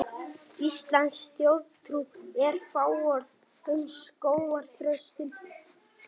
Íslensk þjóðtrú er fáorð um skógarþröstinn.